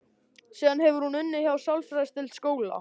Síðan hefur hún unnið hjá sálfræðideild skóla.